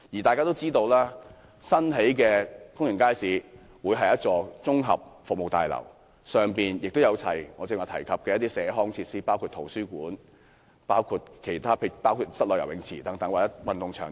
大家也知道，新建的公營街市會是一座綜合服務大樓，裏面會有我剛才提及的社康設施，包括圖書館、室內游泳池或運動場等。